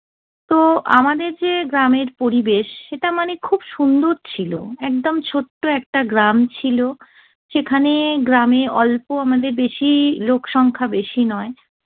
তো আমাদের যে গ্রামের পরিবেশ, সেটা মানে খুব সুন্দর ছিল। একদম ছোট্ট একটা গ্রাম ছিল। সেখানে গ্রামে অল্প, আমাদের বেশি লোকসংখ্যা বেশি নয়।